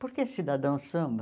Por que cidadão samba?